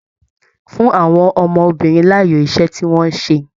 Fún àwọn ọmọbìnrin láàyò iṣẹ tí wọn ṣe!